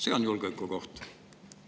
See on julgeolekuoht.